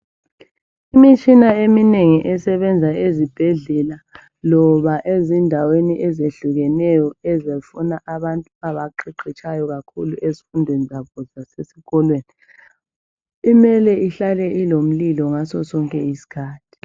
Imitshina eminengi esebenza ezibhedlela loba ezindaweni ezehlukeneyo ezifuna abantu abaqeqetshayo kakhulu ezifundweni zabo zasesikolweni imele ihlale ilomlilo ngasosonke isikhathi.